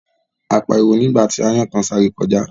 A pariwo nígbà tí aáyán kan sáré kọjá